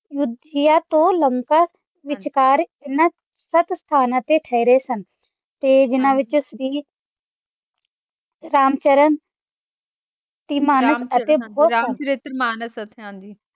ਯੁੱਧ ਕਿਆ ਤੋ ਲੰਕਾ ਵਿਚਕਾਰ ਇਹਨਾਂ ਸੱਤ ਸਥਾਨਾਂ ਤੇ ਠਹਿਰੇ ਸਨ ਤੇ ਜਿਨ੍ਹਾਂ ਵਿੱਚ ਰਾਮ ਚਰਿਤ ਮਾਨਸ